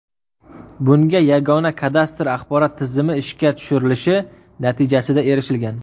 Bunga Yagona kadastr axborot tizimi ishga tushirilishi natijasida erishilgan.